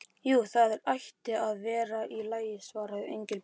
Jú, það ætti nú að vera í lagi svaraði Engilbert.